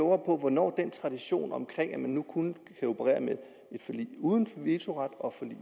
hvornår den tradition om at man nu kun kan operere med et forlig uden en vetoret og